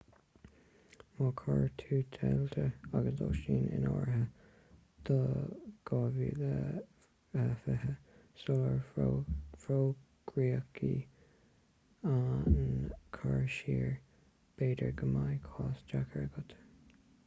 má chuir tú d'eitiltí agus lóistín in áirithe do 2020 sular fógraíodh an cur siar b'fhéidir go mbeidh cás deacair agat